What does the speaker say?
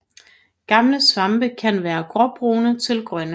Gamle svampe kan være gråbrune til grønne